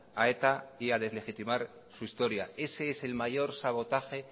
a eta y deslegitimar su historia ese es el mayor sabotaje